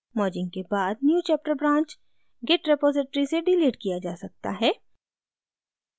merging के बाद newchapter branch git repository से डिलीट किया जा सकता है